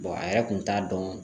a yɛrɛ kun t'a dɔn